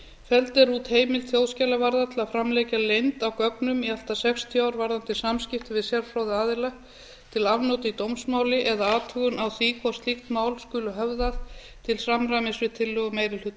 er út heimild þjóðskjalavarðar til að framlengja leynd á gögnum í allt að sextíu ár varðandi samskipti við sérfróða aðila til afnota í dómsmáli eða athugun á því hvort slíkt mál skuli höfðað til samræmis við tillögu meiri hluta